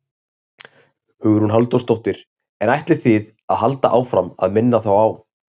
Hugrún Halldórsdóttir: En ætlið þið að halda áfram að minna þá á?